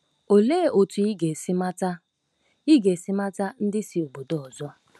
Olee otú ị ga-esi mata ị ga-esi mata ndị si obodo ọzọ?